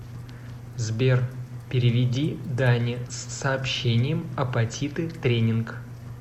сбер переведи дане с сообщением апатиты тренинг